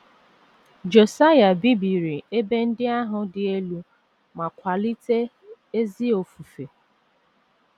Josaịa bibiri ebe ndị ahụ dị elu ma kwalite ezi ofufe